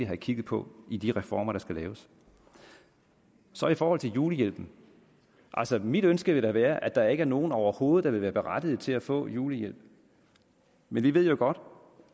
have kigget på i de reformer der skal laves så i forhold til julehjælpen altså mit ønske vil da være at der ikke er nogen overhovedet der vil være berettiget til at få julehjælp men vi ved jo godt